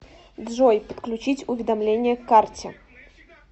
джой подключить уведомление к карте